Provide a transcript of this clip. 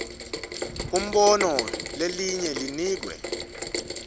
umbono lelinye linikwe